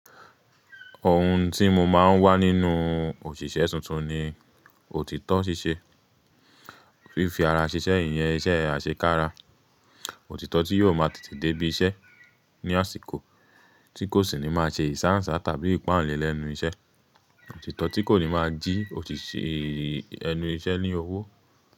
Ohun tí mo máa ń wá nínú òṣìṣẹ́ tuntun ni òtítọ́ ṣíṣe. Fífi ara ṣiṣẹ́, iyẹn iṣe àṣekára, òtítọ́ tí yóò máa tètè dé ibí iṣẹ́ ní àsìkò tí kò sì ní máa ṣe ìsáǹsá tàbí ìpáǹle lẹ́nu iṣẹ́. Òtítọ́ tí kò ní máa jí òṣìṣẹ́ ẹnu iṣẹ́ ní owó.